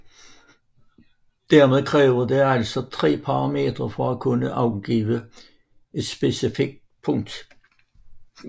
Dermed kræver det altså tre parametre for at kunne angive et specifikt punkt